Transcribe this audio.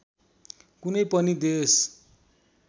कुनै पनि देश